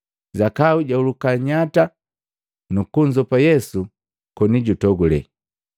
Zakayu jahuluka nnyata nukunzopa Yesu koni jutogule.